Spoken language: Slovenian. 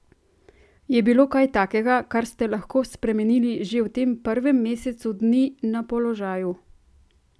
Je bilo kaj takega, kar ste lahko spremenili že v tem prvem mesecu dni na položaju?